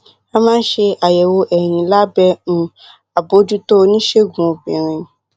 a máa ń ṣe àyẹwò ẹyin lábẹ um àbójútó oníṣègùn obìnrin